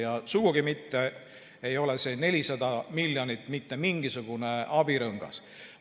Ja sugugi mitte ei ole see 400 miljonit mitte mingisugune abirõngas.